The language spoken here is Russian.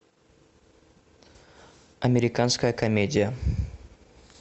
американская комедия